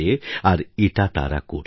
আর এটা তারা করছে